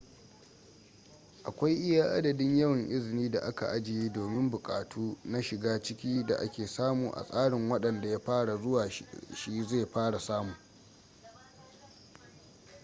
akwai iya adadin yawan izini da aka ajiye domin buƙatu na shiga-ciki da ake samu a tsarin wadanda ya fara zuwa shi zai fara samu